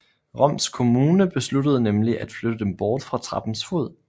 Roms kommune besluttede nemlig at flytte dem bort fra trappens fod